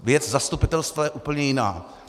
Věc zastupitelstva je úplně jiná.